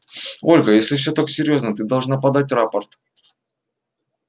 ольга если всё так серьёзно ты должна подать рапорт